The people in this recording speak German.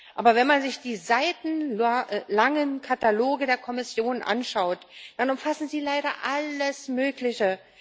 Aber wenn man sich die seitenlangen Kataloge der Kommission anschaut, dann umfassen sie leider alles Mögliche.